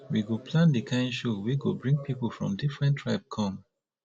we go plan di kind show wey go bring pipu from different tribe come